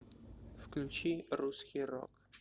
включи русский рок